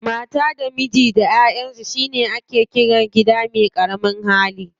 Mata da miji da yaransu shi ake ƙira gida me ƙaramin ahali.